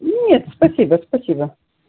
нет спасибо спасибо